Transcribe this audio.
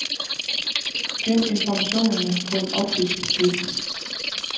Gem informationerne på en optisk disk.